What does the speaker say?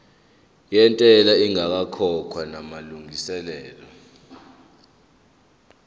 yentela ingakakhokhwa namalungiselo